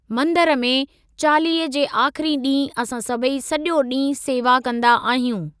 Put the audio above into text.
मंदिर में, चालीहे जे आख़िरी ॾींहुं असां सभई सॼो ॾींहुं सेवा कंदा आहियूं।